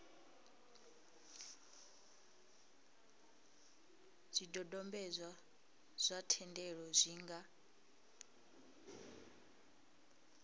zwidodombedzwa zwa thendelo zwi nga